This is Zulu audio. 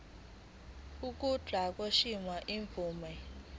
kokuba kukhishwe imvume